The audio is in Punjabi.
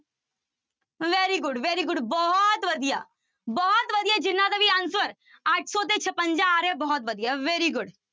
Very good, very good ਬਹੁਤ ਵਧੀਆ, ਬਹੁਤ ਵਧੀਆ ਜਿਹਨਾਂ ਦਾ ਵੀ answer ਅੱਠ ਸੌ ਤੇ ਛਪੰਜਾ ਆ ਰਿਹਾ ਬਹੁਤ ਵਧੀਆ very good